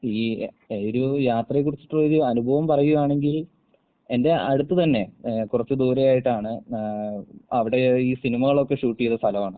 ഈ എഹ് ഒരൂ യാത്രയെ കുറിച്ചിട്ടുള്ളൊരു അനുഭവം പറയുവാണെങ്കിൽ എന്റെ അടുത്ത് തന്നെ ഏഹ് കുറച്ച് ദൂരെയായിട്ടാണ് ഏഹ് അവിടേ ഈ സിനിമകളൊക്കെ ഷൂട്ട് ചെയ്ത സ്ഥലവാണ്.